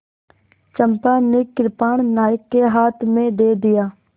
चंपा ने कृपाण नायक के हाथ में दे दिया